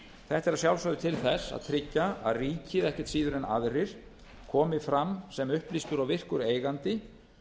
þetta er að sjálfsögðu til þess að tryggja að ríkið ekkert síður en aðrir komi fram sem upplýstur og virkur eigandi